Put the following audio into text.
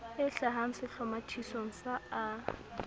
e hlahang sehlomathisong sa a